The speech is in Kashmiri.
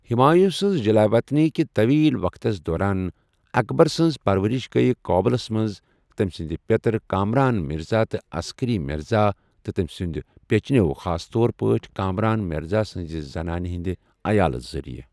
ہمایوں سنٛز جُلاےوطنی کہ طویل وقتس دوران، اکبر سنٛز پرورش گیۍ قابلس منٛز تٔمۍ سنٛد پٮ۪تر، کامران مرزا تہٕ عسکری مرزا، تہٕ تٔمۍ سنٛد پچنٮ۪و، خاص طور پٲٹھۍ کامران مرزا سنٛز زنانہٕ ہنٛد عیالہٕ ذریعہٕ۔